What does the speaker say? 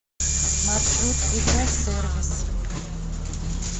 маршрут игра сервис